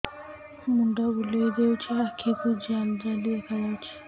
ମୁଣ୍ଡ ବୁଲେଇ ଦେଉଛି ଆଖି କୁ ଜାଲି ଜାଲି ଦେଖା ଯାଉଛି